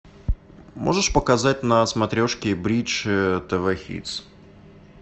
можешь показать на смотрешке бридж тв хитс